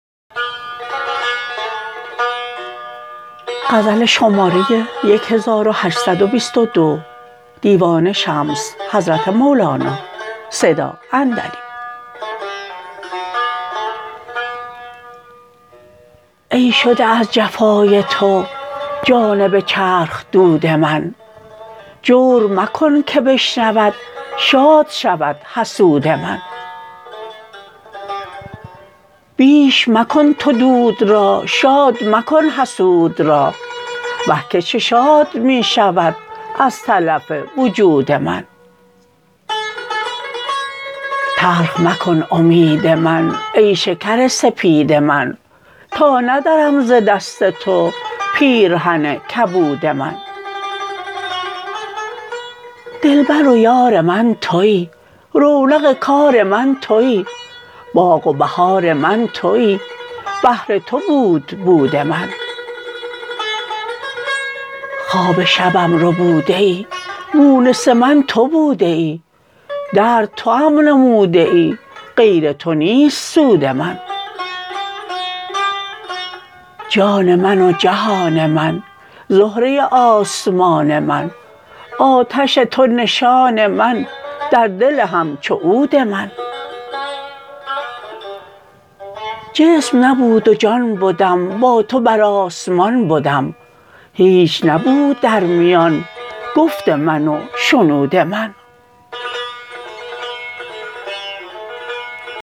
ای شده از جفای تو جانب چرخ دود من جور مکن که بشنود شاد شود حسود من بیش مکن تو دود را شاد مکن حسود را وه که چه شاد می شود از تلف وجود من تلخ مکن امید من ای شکر سپید من تا ندرم ز دست تو پیرهن کبود من دلبر و یار من تویی رونق کار من تویی باغ و بهار من تویی بهر تو بود بود من خواب شبم ربوده ای مونس من تو بوده ای درد توام نموده ای غیر تو نیست سود من جان من و جهان من زهره آسمان من آتش تو نشان من در دل همچو عود من جسم نبود و جان بدم با تو بر آسمان بدم هیچ نبود در میان گفت من و شنود من